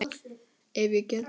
Ef ég get.